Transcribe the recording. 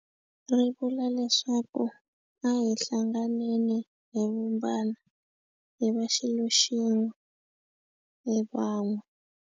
Ri vula leswaku a hi hlanganeni hi vumbana hi va xilo xin'we hi van'we.